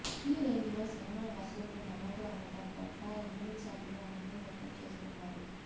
ఈ రేంజ్ లో సినిమా వసూళ్లు నమోదు అవ్వడం పట్ల యూనిట్ సభ్యులు ఆనందం వ్యక్తం చేస్తున్నారు